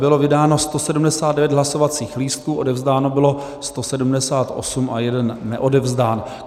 Bylo vydáno 179 hlasovacích lístků, odevzdáno bylo 178 a jeden neodevzdán.